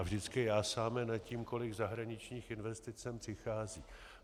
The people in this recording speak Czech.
A vždycky jásáme nad tím, kolik zahraničních investic sem přichází.